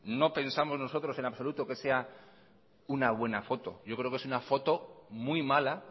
no pensamos nosotros en absoluto que sea una buena foto yo creo que es una foto muy mala